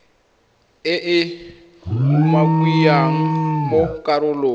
e e umakiwang mo karolong